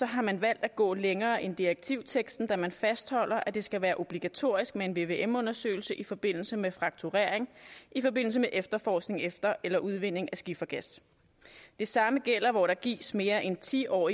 har man valgt at gå længere end direktivteksten da man fastholder at det skal være obligatorisk med en vvm undersøgelse i forbindelse med frakturering i forbindelse med efterforskning efter eller udvinding af skifergas det samme gælder hvor der gives mere end ti år